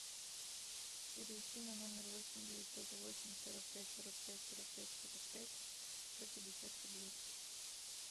перевести на номер восемь девятьсот восемь сорок пять сорок пять сорок пять сорок пять сто пятьдесят рублей